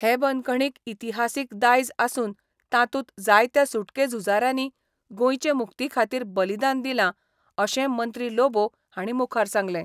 हे बंदखणीक इतिहासीक दायज आसून तातूंत जायत्या सुटके झुजाऱ्यांनी गोंयचे मुक्ती खातीर बलिदान दिलां अशें मंत्री लोबो हांणी मुखार सांगलें.